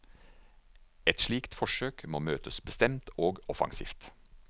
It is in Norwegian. Et slikt forsøk må møtes bestemt og offensivt.